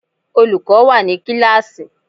Olùkọ́ wà ní kíláàsì.